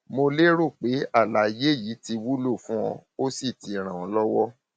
mo lérò pé àlàyé yìí ti wúlò fún ọ ó sì ti ràn ọ lọwọ